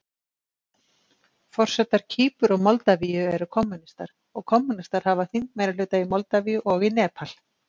Forsetar Kýpur og Moldavíu eru kommúnistar, og kommúnistar hafa þingmeirihluta í Moldavíu og í Nepal.